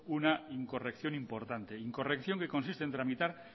una incorrección importante incorrección que consiste en tramitar